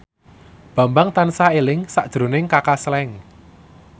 Bambang tansah eling sakjroning Kaka Slank